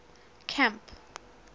camp